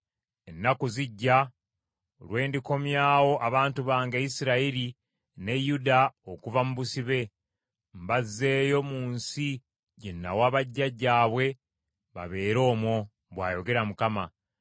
Ennaku zijja, lwe ndikomyawo abantu bange Isirayiri ne Yuda okuva mu busibe, mbazzeeyo mu nsi gye nawa bajjajjaabwe babeere omwo,’ bw’ayogera Mukama .”